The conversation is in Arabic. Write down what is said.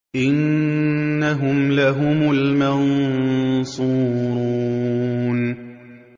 إِنَّهُمْ لَهُمُ الْمَنصُورُونَ